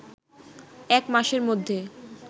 এক মাসের মধ্যে